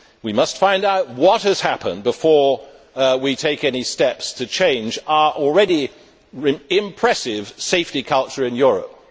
We must find out what has happened before we take any steps to change our already impressive safety culture in Europe.